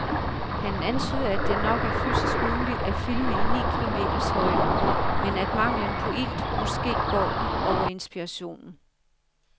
Han antyder, at det nok er fysisk muligt at filme i ni kilometers højde, men at manglen på ilt måske går ud over inspirationen.